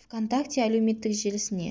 вконтакте әлеуметтік желісіне